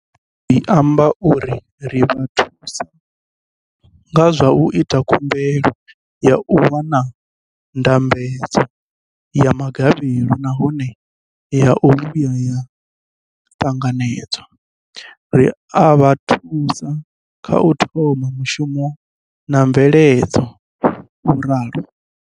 Hezwi zwi amba uri ri vha thusa nga zwa u ita khumbelo ya u wana ndambedzo ya gavhelo nahone ya vhuya ya ṱanganedzwa, ri a vha thusa kha u thoma mushumo na mveledzo, vho ralo.